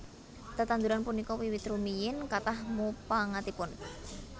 Tetanduran punika wiwit rumiyin kathah mupangatipun